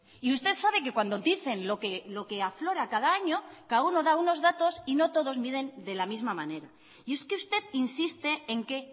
y usted sabe que cuando dicen lo que aflora cada año cada uno da unos datos y no todos miden de la misma manera y es que usted insiste en que